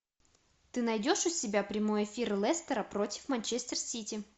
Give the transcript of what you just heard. ты найдешь у себя прямой эфир лестера против манчестер сити